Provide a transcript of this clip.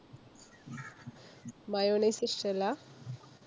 mayonnaise ഇഷ്ടല്ലാ?